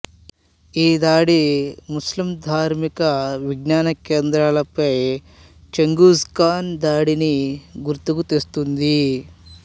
ఈ దాడి ముస్లిం ధార్మిక విజ్ఞాన కేంద్రాలపై చెంఘీజ్ ఖాన్ దాడిని గుర్తుకు తెస్తుంది